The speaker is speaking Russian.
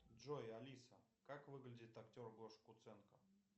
джой алиса как выглядит актер гоша куценко